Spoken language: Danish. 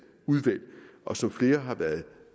udvalg og som flere har været